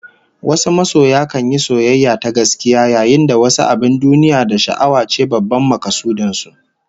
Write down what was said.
Wasu masoya kan yi soyayya ta gaskiya, yayin da wasu abin duniya da sha'awa ce babban makasudin su